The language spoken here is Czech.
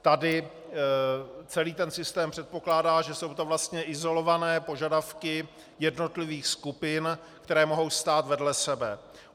Tady celý ten systém předpokládá, že jsou to vlastně izolované požadavky jednotlivých skupin, které mohou stát vedle sebe.